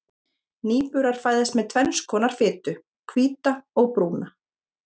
Nýburar fæðast með tvenns konar fitu, hvíta og brúna.